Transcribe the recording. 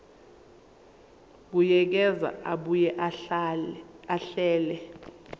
buyekeza abuye ahlele